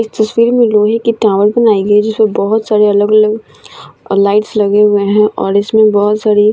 इस तस्वीर में लोहे की टावर बनाई गयी है जिसमें बहुत सारी अलग-अलग लाइट्स लगे हुए हैं और इसमें बहुत सारी --